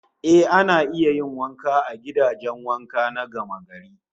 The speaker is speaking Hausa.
Eh, ana iya yin wanka a gidajen wanka na gamagari